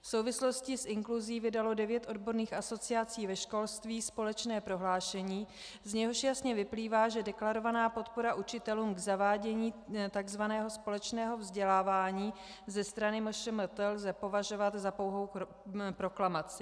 V souvislosti s inkluzí vydalo devět odborných asociací ve školství společné prohlášení, z něhož jasně vyplývá, že deklarovanou podporu učitelům v zavádění tzv. společného vzdělávání ze strany MŠMT lze považovat za pouhou proklamaci.